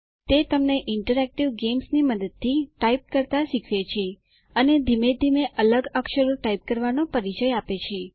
તે તમને ઇન્ટરેક્ટિવ ગેમ્સની મદદથી ટાઇપ કરતા શીખવે છે અને ધીમે ધીમે અલગ અક્ષરો ટાઇપ કરવાનો પરિચય આપે છે